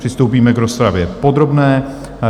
Přistoupíme k rozpravě podrobné.